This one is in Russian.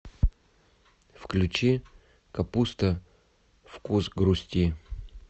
включи капуста вкус грусти